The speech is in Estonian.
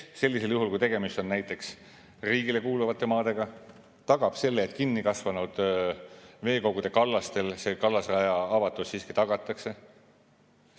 Kes sellisel juhul, kui tegemist on näiteks riigile kuuluva maaga, tagab selle, et kinni kasvanud veekogude kallastel see kallasraja avatus siiski tagatakse?